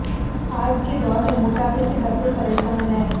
आज के दौर में मोटापा से हर कोई परेसान है